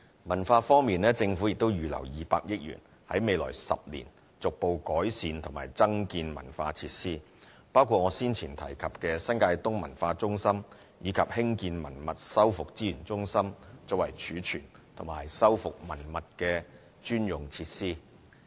文化方面，政府亦已預留200億元，在未來10年逐步改善和增建文化設施，包括我先前提及的新界東文化中心，以及興建文物修復資源中心作為儲存及修復文物的專用設施。